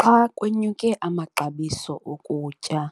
Xa kwenyuke amaxabiso okutya,